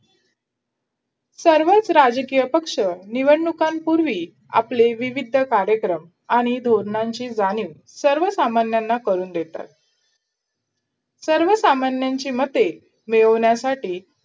सर्वच राजकीय पक्ष निवडणुकांपुर्वी आपले विविध कार्यक्रम आणि धोरणांची जाणीव सर्वसामान्यांना करून देतात सर्वसामान्यांची मते मिळवण्यासाठी